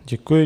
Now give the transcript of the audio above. Děkuji.